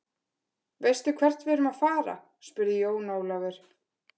Veistu hvert við erum að fara, spurði Jón Ólafur.